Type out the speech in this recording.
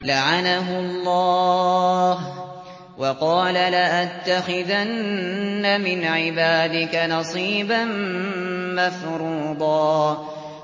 لَّعَنَهُ اللَّهُ ۘ وَقَالَ لَأَتَّخِذَنَّ مِنْ عِبَادِكَ نَصِيبًا مَّفْرُوضًا